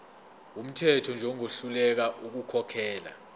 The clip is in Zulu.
wumthetho njengohluleka ukukhokhela